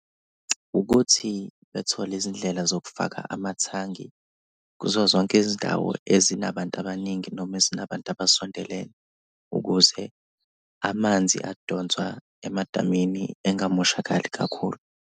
Ukuthi bethole izindlela zokufaka amathangi kuzo zonke izindawo ezinabantu abaningi noma ezinabantu abasondelene, ukuze amanzi adonswa emadamini engamoshakali kakhulu.